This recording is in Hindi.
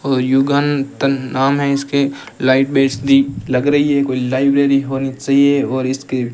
युगांतन नाम है इसके लग रही है कोई लाइब्रेरी होनी चाहिए और इसके --